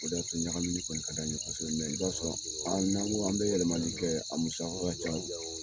O de y'a to ɲagamini kɔni ka d'an ye kosɛbɛ i b'a sɔrɔ an bɛ n'an ko, an bɛ yɛlɛmali kɛ, a musaka ka ca.